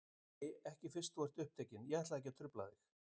Nei, ekki fyrst þú ert upptekinn, ég ætlaði ekki að trufla þig.